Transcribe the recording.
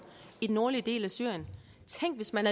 i den nordlige del af syrien tænk hvis man